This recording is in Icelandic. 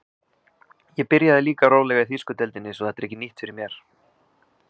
Ég byrjaði líka rólega í þýsku deildinni svo þetta er ekki nýtt fyrir mér.